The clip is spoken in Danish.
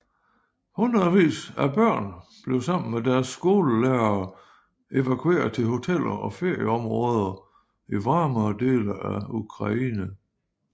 Hundredvis af børn blev sammen med deres skolelærere evakueret til hoteller og ferieområder i varmere dele af Ukraine